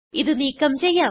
ഇത് നീക്കം ചെയ്യാം